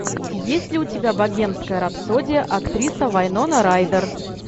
есть ли у тебя богемская рапсодия актриса вайнона райдер